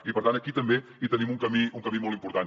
i per tant aquí també hi tenim un camí molt important